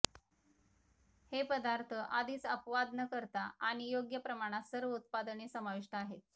हे पदार्थ आधीच अपवाद न करता आणि योग्य प्रमाणात सर्व उत्पादने समाविष्ट आहेत